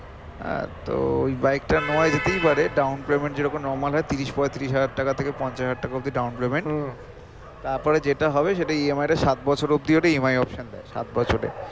আহ তো ওই bike টা নেওয়া যেতেই পারে down payment যেরকম normal হয়ে তিরিশ পৈতিরিশ হাজার টাকা থেকে পন্চাশ হাজার টাকা অবধি down payment তার পরে যেটা হবে সেটা E. M. I. টা সাত বছর অবধি ওরা E. M. I. option দেয় সাত বছরের